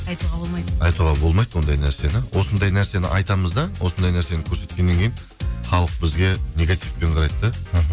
айтуға болмайды ондай нәрсені осындай нәрсені айтамыз да осындай нәрсені көрсеткеннен кейін халық бізге негативпен қарайды да